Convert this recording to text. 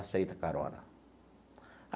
Aceito a carona.